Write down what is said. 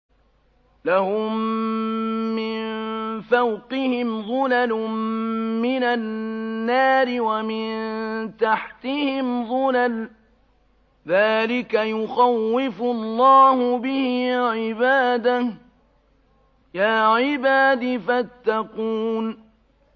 لَهُم مِّن فَوْقِهِمْ ظُلَلٌ مِّنَ النَّارِ وَمِن تَحْتِهِمْ ظُلَلٌ ۚ ذَٰلِكَ يُخَوِّفُ اللَّهُ بِهِ عِبَادَهُ ۚ يَا عِبَادِ فَاتَّقُونِ